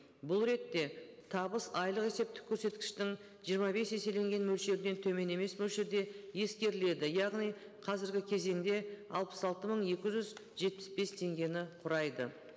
бұл ретте табыс айлық есептік көрсеткіштің жиырма бес еселенген мөлшерінен төмен емес мөлшерде ескеріледі яғни қазіргі кезеңде алпыс алты мың екі жүз жетпіс бес теңгені құрайды